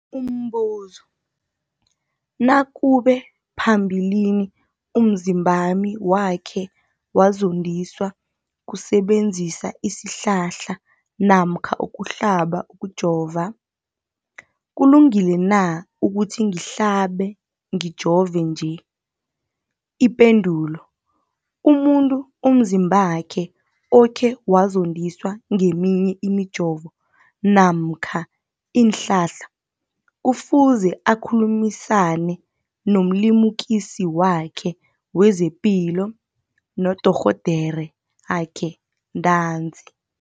Umbuzo, nakube phambilini umzimbami wakhe wazondiswa kusebenzisa isihlahla namkha ukuhlaba, ukujova, kulungile na ukuthi ngihlabe, ngijove nje? Ipendulo, umuntu umzimbakhe okhe wazondiswa ngeminye imijovo namkha iinhlahla kufuze akhulumisane nomlimukisi wakhe wezepilo, nodorhoderakhe ntanzi.